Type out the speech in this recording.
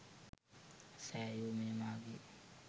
සැයු – මෙය මාගේ